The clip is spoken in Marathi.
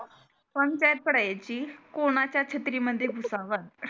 पंचायत पडायची कोणचा छत्री मध्ये घुसावा